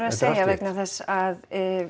vegna þess að